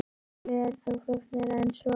Málið er þó flóknara en svo.